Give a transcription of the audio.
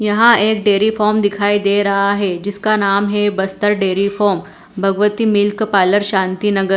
यहां एक dairy farm दिखाई दे रहा है जिसका नाम है Bastar dairy farm Bhagwati milk parlour Shanti नगर।